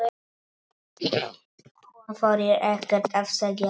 Hún þorir ekkert að segja.